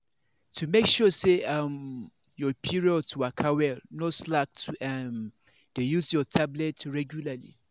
to make sure say um your period waka well no slack to um dey use your tablet regualrly.